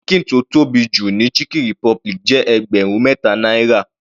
Ṣíkìn tó tóbi jù ní chicken republic jẹ́ ẹgbẹrun mẹta náírà.